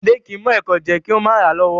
Ọmọdẹ́ kìí mọ ẹ̀kọ jẹ kìí o ma ra lọ́wọ́'